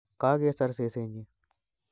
Kagesor sesenyi